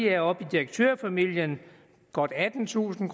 er oppe i direktørfamilien godt attentusind